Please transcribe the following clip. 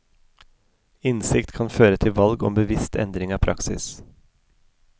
Innsikt kan føre til valg om bevisst endring av praksis.